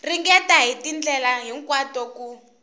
ringeta hi tindlela hinkwato ku